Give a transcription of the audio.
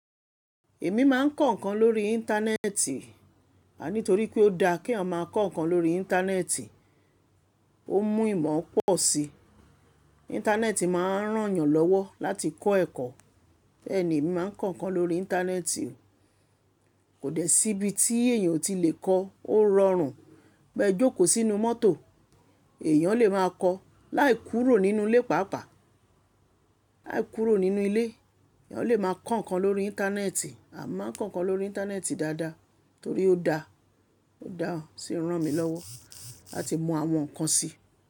Èmi máa ń kọ ǹkan lórí Íńtánẹ́ẹ̀tì. Àní torí pé ó da kí eyan máa kọ ǹkan lórí Íńtánẹ́ẹ̀tì, ó mú ìmọ̀ pọ̀ sí. Íńtánẹ́ẹ̀tì máa ń ràn yàn lọ́wọ́ láti kọ́ ẹ̀kọ́. Bẹ́ẹ̀ ni èmi máa ń kọ ǹkan lórí Íńtánẹ́ẹ̀tì. Kò dẹ́ síbi tí èèyàn ò tí lè kọ. Ó rọrùn. Bẹ́ ẹ jókòó sínú mọ́tò, èèyàn lè máa kọ. Láì kúrò nínú ilé pàápàá, láì kúrò nínú ilé, èèyàn lè máa kọ ǹkan lórí Íńtánẹ́ẹ̀tì. A máa ń kọ ǹkan lórí Íńtánẹ́ẹ̀tì dáadáa torí ó da, ó da sì ń ràn mí lọ́wọ́ láti mọ àwọn ǹkan sí.